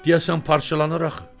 Deyəsən parçalanır axı.